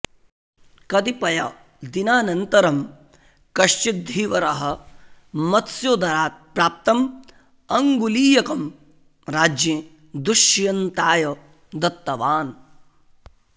कदिपयदिनानन्तरं कश्चित् धीवरः मत्स्योदरात् प्राप्तम् अङ्गुलीयकं राज्ञे दुष्यन्ताय दत्तवान्